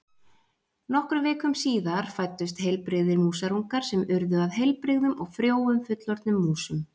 Nokkrum vikum síðar fæddust heilbrigðir músarungar sem urðu að heilbrigðum og frjóum fullorðnum músum.